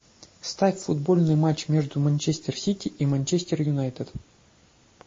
ставь футбольный матч между манчестер сити и манчестер юнайтед